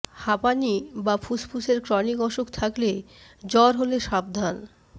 হাঁপানি বা ফুসফুসের ক্রনিক অসুখ থাকলে জ্বর হলে সাবধান